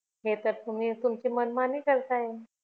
हे तर तुम्ही तुमची मनमानी करताय